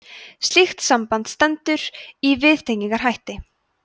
slíkt samband stendur í viðtengingarhætti